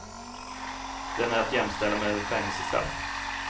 Den är att jämställa med ett fängelsestraff.